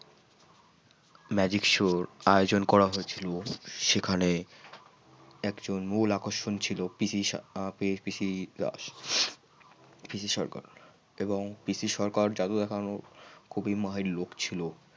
Magic show এর আয়োজন করা হয়েছিল সেখানে এক জন মূল আকর্ষণ ছিল পিসি সরকার পিসি সরকার। এবং পিসি সরকার জাদু দেখানো খুবই মহান লোক ছিল।